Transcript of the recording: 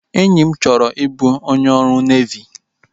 Enyi m chọrọ i bụ onye ọrụ nevi